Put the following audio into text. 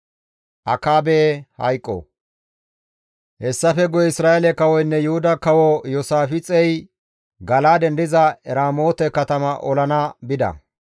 Hessafe guye Isra7eele kawoynne Yuhuda Kawo Iyoosaafixey Gala7aaden diza Eramoote katama olana bida.